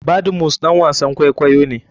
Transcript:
Badmus ɗan wasan kwakwayo ne.